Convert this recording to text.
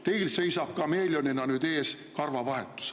Teil seisab nüüd kameeleonina ees karvavahetus.